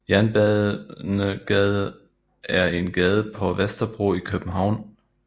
Jernbanegade er en gade på Vesterbro i København